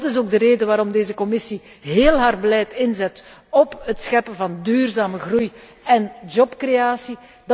Dat is ook de reden waarom deze Commissie heel haar beleid inzet op het scheppen van duurzame groei en jobcreatie.